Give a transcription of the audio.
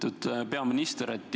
Lugupeetud peaminister!